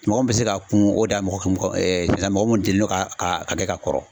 Mɔgɔ min be se k'a kun o dan ye mɔgɔ mɔgɔ ɛɛ parɛzanpulu mɔgɔ mun delini don ka ka k'a kɛ ka kɔrɔ